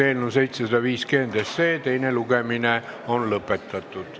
Eelnõu 750 teine lugemine on lõppenud.